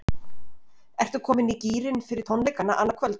Ertu komin í gírinn fyrir tónleikana annað kvöld?